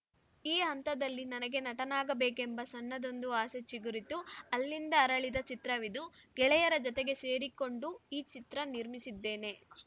ಈ ಹಂತದಲ್ಲಿ ನನಗೆ ನಟನಾಗಬೇಕೆಂಬ ಸಣ್ಣದೊಂದು ಆಸೆ ಚಿಗುರಿತುಅಲ್ಲಿಂದ ಅರಳಿದ ಚಿತ್ರವಿದು ಗೆಳೆಯರ ಜತೆಗೆ ಸೇರಿಕೊಂಡು ಈ ಚಿತ್ರ ನಿರ್ಮಿಸಿದ್ದೇನೆ